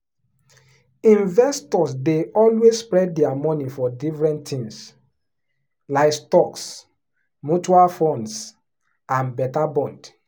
investors dey always spread their money for different things like stocks mutual funds and better bond.